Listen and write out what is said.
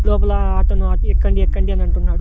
లోపల ఆటో ను ఆపి ఎక్కండి ఎక్కండి అని అంటున్నాడు.